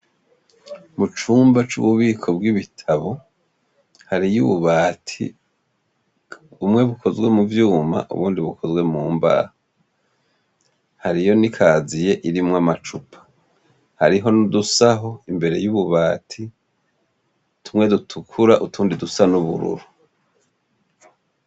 Mu cumba c'ububiko bw'ibitabo, hariyo ububati. Bumwe bukozwe mu vyuma ubundi bukozwe mu mbaho. Hariyo n'ikaziye irimwo amacupa. Hariho n'udusaho imbere y'ububati, tumwe dutukura utundi dusa n'ubururu.